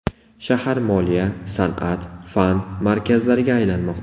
Shahar moliya, san’at, fan markazlariga aylanmoqda.